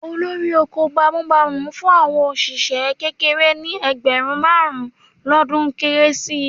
Olórí oko bámúbamù fún àwọn òṣìṣẹ́ kéékèèké ní ẹgbẹ̀rún márùn-ún lọ́dún Kérésì